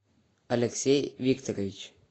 алексей викторович